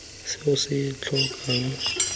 se o se tlhokang batlang